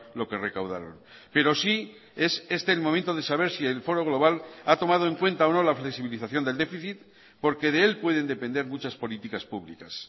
lo que recaudaron pero sí es este el momento de saber si el foro global ha tomado en cuenta o no la flexibilización del déficit porque de él pueden depender muchas políticas públicas